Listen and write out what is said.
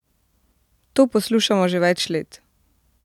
To poslušamo že več let!